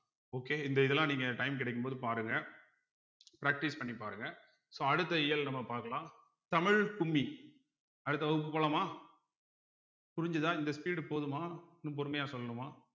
okay இந்த இதெல்லாம் நீங்க time கிடைக்கும் போது பாருங்க practice பண்ணி பாருங்க so அடுத்த இயல் நம்ம பார்க்கலாம் தமிழ் கும்மி அடுத்த வகுப்பு போலாமா புரிஞ்சுதா இந்த speed போதுமா இன்னும் பொறுமையா சொல்லணுமா